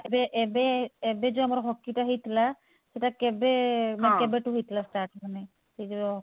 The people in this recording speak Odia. ଏବେ ଏବେ ଏବେ ଯଉ ଆମର hockey ଟା ହେଇଥିଲା ସେଟା କେବେ ମାନେ କେବେ ଠୁ ହେଇଥିଲା ମାନେ?